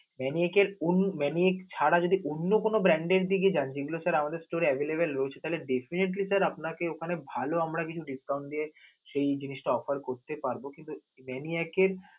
Maniac এর অন্য~ Maniac ছাড়া যদি অন্য কোনো brand এর দিকে যান যেগুলো sir আমাদের store এ available রয়েছে তাহলে definitely sir আপনাকে ওখানে ভালো আমরা কিন্তু discount দিয়ে সেই জিনিসটা offer করতে পারব. কিন্তু Maniac এর